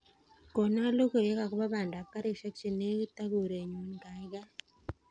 Konan logoiywek agobo bandab karishek chenegit ak korenyun gaigai